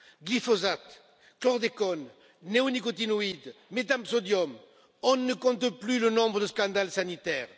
Glyphosate, chlordécone, néonicotinoïdes, métam sodium, on ne compte plus le nombre de scandales sanitaires.